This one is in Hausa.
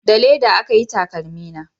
Da leda aka yi takalmi na